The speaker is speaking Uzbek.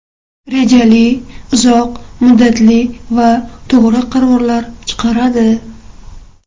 Rejali, uzoq muddatli va to‘g‘ri qarorlar chiqaradi.